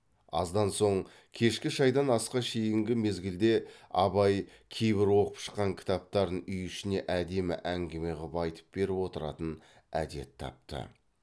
аздан соң кешкі шайдан асқа шейінгі мезгілде абай кейбір оқып шыққан кітаптарын үй ішіне әдемі әңгіме қып айтып беріп отыратын әдет тапты